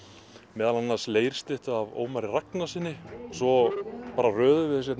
meðal annars af Ómari Ragnarssyni svo bara röðuðum við þessu